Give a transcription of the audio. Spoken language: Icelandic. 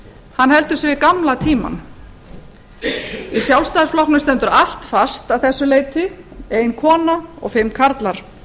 hann heldur sig við gamla tímann í sjálfstæðisflokknum stendur allt fast að þessu leyti ein kona og fimm karlar